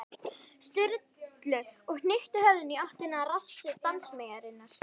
Sturlu og hnykkti höfðinu í áttina að rassi dansmeyjarinnar.